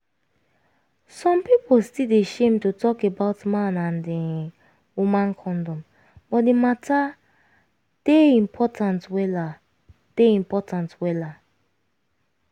some pipu still dey shame to talk about man and[um]woman condom but di matter dey important wella dey important wella